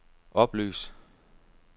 oplys